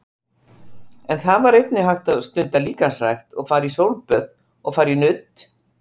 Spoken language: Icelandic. En þar var einnig hægt að stunda líkamsrækt og jafnvel sólböð og fara í nudd.